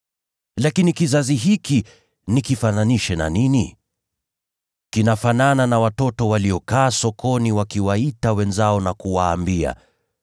“Lakini kizazi hiki nikifananishe na nini? Kinafanana na watoto waliokaa sokoni wakiwaita wenzao na kuwaambia,